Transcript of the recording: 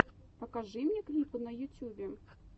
покажи мне клипы на ютьюбе